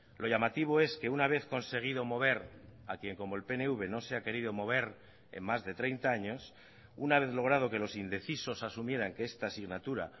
lo llamativo es que una vez conseguido mover a quien como el pnv no se ha querido mover en más de treinta años una vez logrado que los indecisos asumieran que esta asignatura